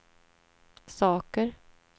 saker